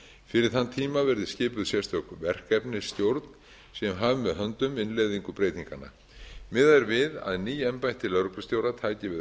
fyrir þann tíma verði skipuð sérstök verkefnisstjórn sem hafi með höndum innleiðingu breytinganna miðað er við að ný embætti lögreglustjóra taki við